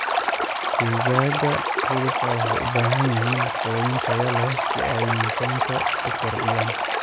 Digaaga hilibka waxay u baahan yihiin quudin tayo leh si ay miisaanka u kordhiyaan.